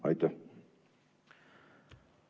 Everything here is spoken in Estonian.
Aitäh!